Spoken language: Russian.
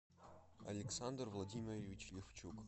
александр владимирович левчук